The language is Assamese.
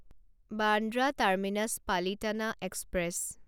Bandra terminus Palitana express